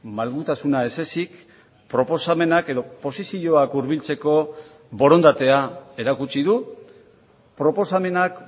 malgutasuna ez ezik proposamenak edo posizioak hurbiltzeko borondatea erakutsi du proposamenak